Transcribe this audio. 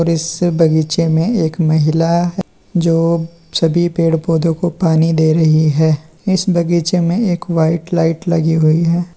इस बगीचे में एक महिला है जो सभी पेड़ पौधों को पानी दे रही है इस बगीचे में एक वाइट लाइट लगी हुई है।